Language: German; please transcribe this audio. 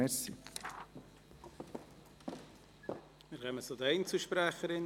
Wir kommen zu den Einzelsprechern.